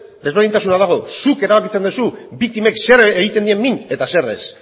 ezberdintasuna dago zuk erabakitzen duzu biktimek zer egiten dien min eta zer ez